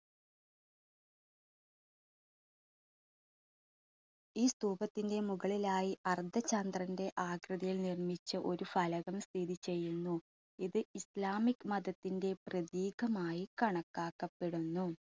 ഈ സ്തൂപത്തിന്റെ മുകളിലായി അർദ്ധചന്ദ്രന്റെ ആകൃതിയിൽ നിർമ്മിച്ച ഒരു ഫലകം സ്ഥിതി ചെയ്യുന്നു ഇത് islamic മതത്തിൻറെ പ്രതീകമായി കണക്കാക്കപ്പെടുന്നു.